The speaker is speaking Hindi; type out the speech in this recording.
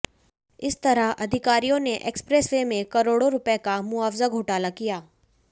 इस तरह अधिकारियों ने एक्सप्रेसवे में करोड़ों रुपए का मुआवजा घोटाला किया